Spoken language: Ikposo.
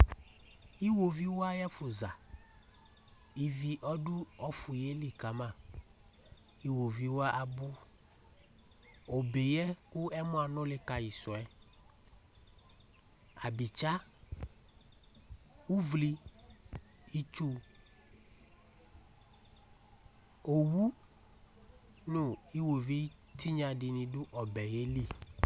iwoviu ayi ɛfu za ivi ɔdu ɔfu yɛ li kama iwoviu wa abò obe yɛ kò ɔmɔ anuli ka yi su yɛ abitsa uvle itsu owu no iwoviu tinya di ni do ɔbɛ yɛ li